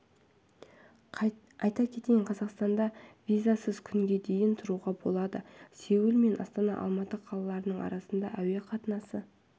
айта кетейін қазақстанда визасыз күнге дейін тұруға болады сеул мен астана алматы қалаларының арасында әуе қатынасы